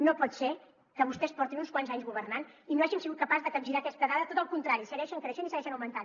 no pot ser que vostès portin uns quants anys governant i no hàgim sigut capaços de capgirar aquestes dades al contrari segueixen creixent i segueixen augmentant